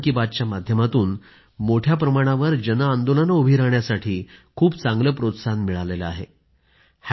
मन की बातच्या माध्यमातून मोठ्या प्रमाणावर जन आंदोलनं उभी राहण्यासाठी खूप चांगलं प्रोत्साहन मिळालं आहे